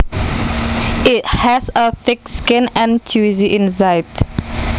It has a thick skin and juicy inside